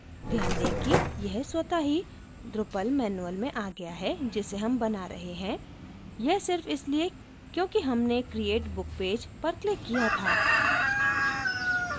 ध्यान दें कि यह स्वत: ही drupal manual में आ गया है जिसे हम बना रहे हैं यह सिर्फ इसलिए क्योंकि हमने create book page पर क्लिक किया था